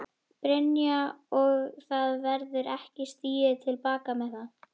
Brynja: Og það verður ekki stigið til baka með það?